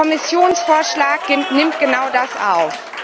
Der Kommissionsvorschlag nimmt genau das auf.